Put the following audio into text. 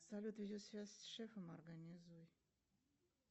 салют видеосвязь с шефом организуй